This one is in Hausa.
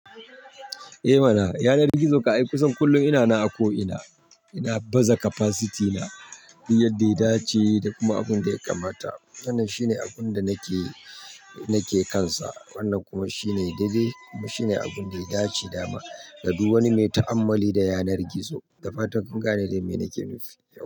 Eh mana, yanar gizo ka yi kusan kullum ina na a ko ina. Ina baza capacity na, duk ida yadda ya dace da kuma abun da ya kamata. Wannan shine abun da nake, nake kansa. Wannan kuma shine dai dai kuma shine abun da ya dace da dama. Da duk wani mai ta'ammali da yanar gizo. Da fatan kun gane dai me nake nufi.